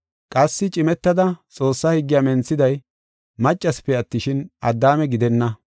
Qassi cimetada Xoossaa higgiya menthiday maccasipe attishin, Addaame gidenna.